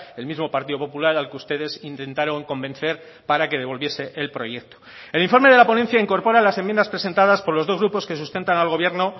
el mismo partido popular al que ustedes intentaron convencer para que devolviese el proyecto el informe de la ponencia incorpora a las enmiendas presentadas por los dos grupos que sustentan al gobierno